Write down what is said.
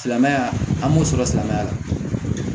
Silamɛya an b'o sɔrɔ silamɛya la